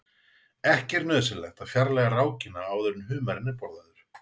Ekki er nauðsynlegt að fjarlægja rákina áður en humarinn er borðaður.